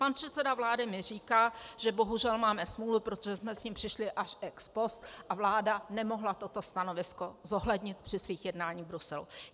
Pan předseda vlády mi říká, že bohužel máme smůlu, protože jsme s tím přišli až ex post a vláda nemohla toto stanovisko zohlednit při svých jednáních v Bruselu.